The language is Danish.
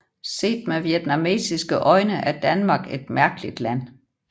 Set med vietnamesiske øjne er Danmark et mærkeligt land